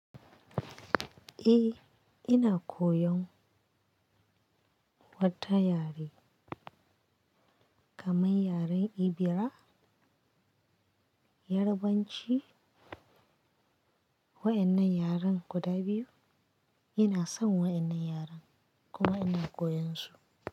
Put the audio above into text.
Eh, ina koyan wata yare kaman yaren Ebira, Yarbanci wa'innan yaren guda biyu. Ina son wa'innan yaren kuma ina koyan su.